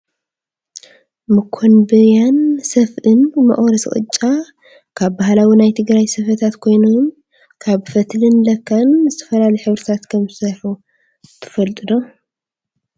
መኮንብያን ሰፍእ መቁረሲ ቅጫ ካብ ባህላዊ ናይ ትግራይ ስፈታት ኮይኖም ካብ ፈትልን ላካን ብዝተፈላለዩ ሕብርታት ከም ዝስርሑ ትፈልጡ ዶ ?